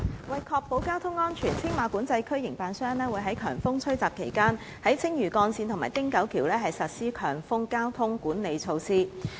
為確保交通安全，青馬管制區營辦商會於強風吹襲期間在青嶼幹線及汀九橋實施強風交通管理措施。